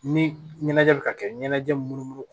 Ni ɲɛnajɛ bɛ ka kɛ ɲɛnajɛ munumunu